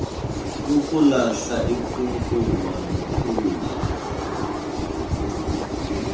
ukulahla inkukuma nokhula